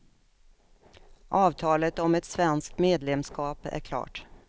Avtalet om ett svenskt medlemskap är klart.